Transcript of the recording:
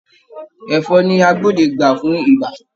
Ẹ̀fọn ni agbódegbà fún ibà